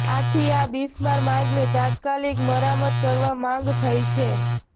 આથી આ બિસ્માર માર્ગને તાત્કાલિક મરામત કરવા માંગ થઈ છે